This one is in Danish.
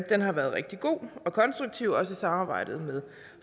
den har været rigtig god og konstruktiv også i samarbejdet med